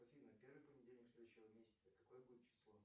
афина первый понедельник следующего месяца какое будет число